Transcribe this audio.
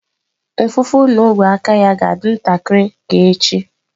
Mfụfụ na ogwe aka ya ga-adị ntakịrị ka echi